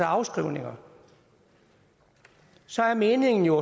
afskrivninger så er meningen jo